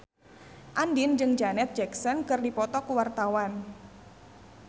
Andien jeung Janet Jackson keur dipoto ku wartawan